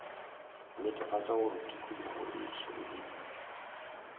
netefatša gore tikologo e šireleditšwe